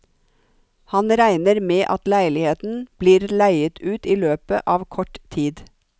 Han regner med at leiligheten blir leiet ut i løpet av kort tid.